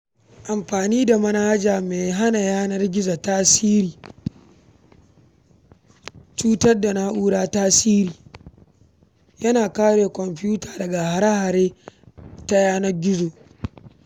Amfani da manhaja mai hana ƙwayar cutar na'ura tasiri yana kare kwamfuta daga hare-hare ta yanar gizo.